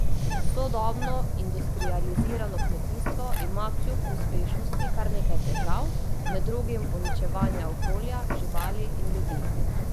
Sodobno industrializirano kmetijstvo ima kljub uspešnosti kar nekaj težav, med drugim uničevanje okolja, živali in ljudi.